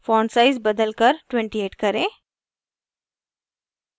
font size बदल कर 28 करें